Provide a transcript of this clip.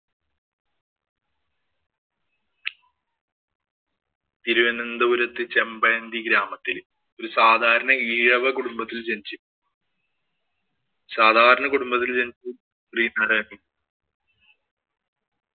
തിരുവനന്തപുരത്ത് ചേമ്പഴന്തി ഗ്രാമത്തില് ഒരു സാധാരണ ഈഴവ കുടുംബത്തില്‍ ജനിച്ച് സാധാരണ കുടുംബത്തില്‍ ജനിച്ച് ശ്രീനാരായണഗുരു